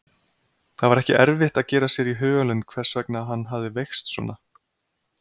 Það var ekki erfitt að gera sér í hugarlund hvers vegna hann hafði veikst svona.